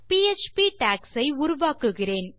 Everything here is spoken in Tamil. பிஎச்பி டாக்ஸ் ஐ உருவாக்குகிறேன்